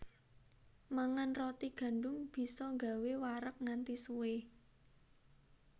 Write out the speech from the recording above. Mangan roti gandum bisa gawé wareg nganti suwé